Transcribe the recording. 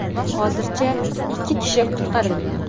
Hozircha ikki kishi qutqarilgan.